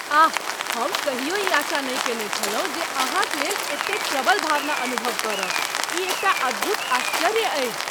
आह! हम कहियो ई आशा नहि कयने छलहुँ जे अहाँक लेल एतेक प्रबल भावना अनुभव करब। ई एकटा अद्भुत आश्चर्य अछि।